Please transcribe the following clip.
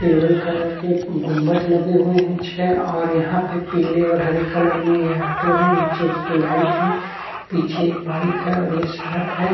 किल्वर colour के गुंबज लगे हुए हैं छे और यहां पे पीले और हरे कलर में ये आटो है नीचे उसकी लाइट है पीछे एक बाइक है और ये शड़क है।